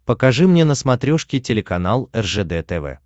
покажи мне на смотрешке телеканал ржд тв